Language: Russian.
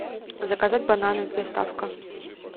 заказать бананы доставка